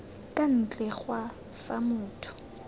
kwa ntle ga fa motho